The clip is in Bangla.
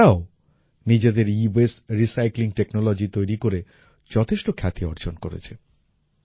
তারাও নিজেদের ইওয়েস্ট রিসাইক্লিং টেকনোলজি তৈরি করে যথেষ্ট খ্যাতি অর্জন করেছে